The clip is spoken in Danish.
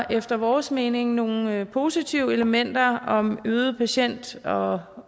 efter vores mening nogle positive elementer om øget patientsikkerhed og